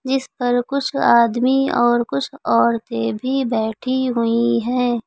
जिस पर कुछ आदमी और कुछ औरतें भी बैठी हुई हैं।